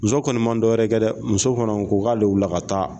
Muso kɔni ma dɔwɛrɛ kɛ dɛ muso fana ko k'ale wuli ka taa